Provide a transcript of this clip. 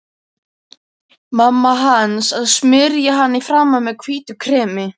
Mamma hans að smyrja hana í framan með hvítu kremi.